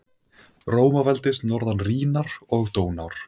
Rómaveldis norðan Rínar og Dónár.